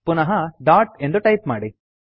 ಪುನಃ ಡಾಟ್ ಎಂದು ಟೈಪ್ ಮಾಡಿ